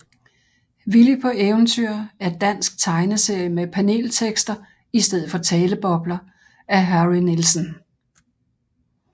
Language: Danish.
Willy på Eventyr er dansk tegneserie med paneltekster i stedet for talebobler af Harry Nielsen